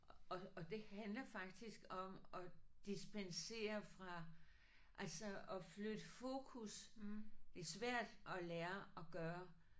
Og og det handler faktisk om at dispensere fra altså at flytte fokus. Det er svært at lære at gøre